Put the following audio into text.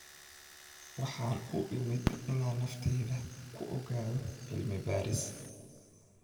Waxaan u imid inaan nafteyda ku ogaado cilmi-baaris.